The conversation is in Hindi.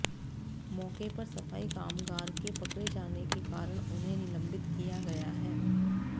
मौके पर सफाई कामगार के पकड़े जाने के कारण उन्हें निलंबित किया गया है